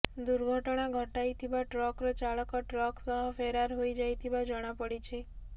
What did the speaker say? ଦୁର୍ଘଟଣା ଘଟାଇଥିବା ଟ୍ରକର ଚାଳକ ଟ୍ରକ ସହ ଫେରାର ହୋଇଯାଇଥିବା ଜଣାପଡ଼ିଛି